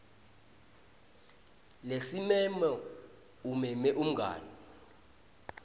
lesimemo umeme umngani